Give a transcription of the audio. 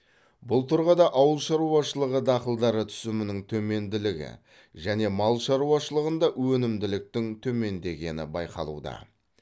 бұл тұрғыда ауыл шаруашылығы дақылдары түсімінің төменділігі және мал шаруашылығында өнімділіктің төмендегені байқалуда